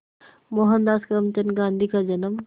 मोहनदास करमचंद गांधी का जन्म